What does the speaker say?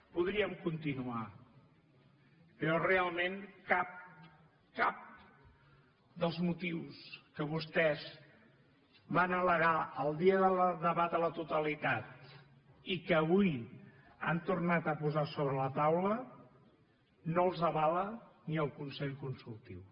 podríem continuar però realment cap cap dels motius que vostès van al·legar el dia del debat a la totalitat i que avui han tornat a posar sobre la taula no els avala ni el consell consultiu